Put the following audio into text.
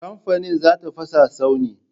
Kamfani za ta fasa tsauni.